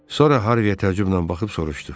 Sonra Harviyə təmkinlə baxıb soruşdu: